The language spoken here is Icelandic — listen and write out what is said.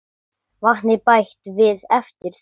Vatni bætt við eftir þörfum.